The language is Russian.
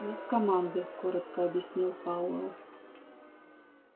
нет команды коротко объяснил пауэлл